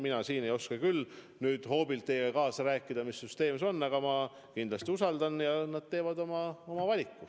Mina küll ei oska hoobilt teiega kaasa rääkida, mis süsteem see on, aga ma kindlasti usaldan neid ja nad teevad oma valiku.